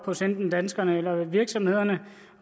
hos enten danskerne eller virksomhederne